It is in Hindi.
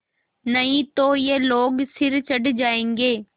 नहीं तो ये लोग सिर चढ़ जाऐंगे